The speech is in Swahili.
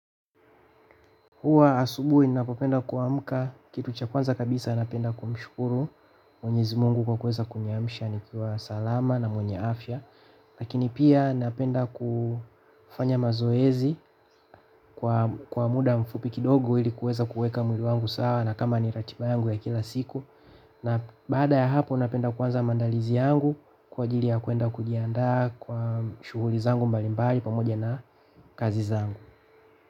Huwa asubuhi ninapopenda kuamka kitu cha kwanza kabisa napenda kumshukuru Mwenyezi Mungu kwa kuweza kuniamsha salama na mwenye afya lakini pia napenda kufanya mazoezi kwa muda mfupi kidogo ili kuweza kuweka mwili wangu sawa na kama ni ratiba yangu ya kila siku. Na baada ya hapo napenda kuanza maandalizi yangu kwa ajili ya kuenda kujiandaa kwa shughuli zangu mbalimbali pamoja na kazi zangu.